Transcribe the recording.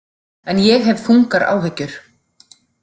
En ég hef þungar áhyggjur.